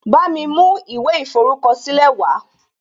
Bámi mú ìwé ìforúkọ̀sílẹ̀ wàá